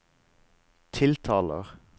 tiltaler